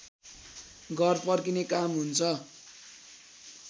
घर फर्किने काम हुन्छ